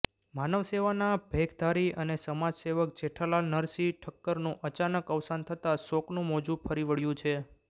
માનવસેવાના ભેખધારી અને સમાજસેવક જેઠાલાલ નરશી ઠકકરનું અચાનક અવસાન થતાં શોકનું મોજું ફરી વળ્યું છે